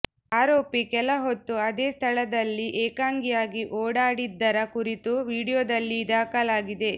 ಆರೋಪಿ ಕೆಲಹೊತ್ತು ಅದೇ ಸ್ಥಳದಲ್ಲಿ ಏಕಾಂಗಿಯಾಗಿ ಓಡಾಡಿದ್ದರ ಕುರಿತು ವಿಡಿಯೋದಲ್ಲಿ ದಾಖಲಾಗಿದೆ